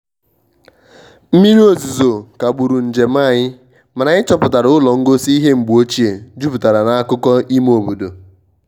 mmiri ozizo kagburu njem anyị mana anyị chọpụatra ụlọ ngosi ihe mgbeochie juputara n`akụkọ ime obodo